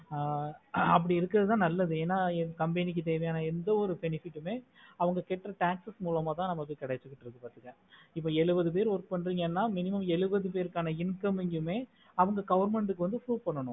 அப்டி இருக்குறதுதா நல்லது என என் company க்கு தேவையான எந்த ஒரு benefit டுமே அவங்க கேக்குறா bank slip மூலமாத கெடச்சிட்டு இருக்கு பாத்துக்க எழுவது பேர் work பண்றிங்கனா minimum எழுவது பெர்கானா income மே அவங்க government க்கு proof பண்ணுனோம்